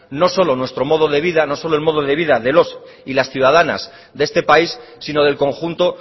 no solo nuestro modo de vida no solo el modo de vida de los y las ciudadanas de este país sino del conjunto